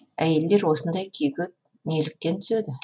әйелдер осындай күйге неліктен түседі